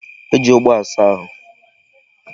E ji ogbo asa ahụ.